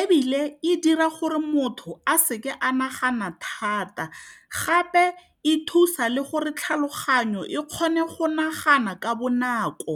Ebile e dira gore motho a seke a nagana thata gape e thusa le gore tlhaloganyo e kgone go nagana ka bonako.